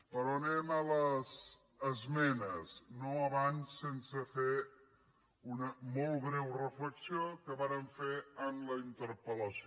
però anem a les esmenes no abans sense fer una molt breu reflexió que vàrem fer en la interpel·lació